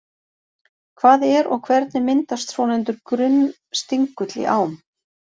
Hvað er og hvernig myndast svonefndur grunnstingull í ám?